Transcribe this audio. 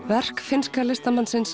verk finnska listamannsins